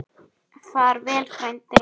Far vel frændi.